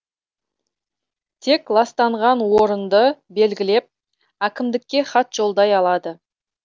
тек ластанған орынды белгілеп әкімдікке хат жолдай алады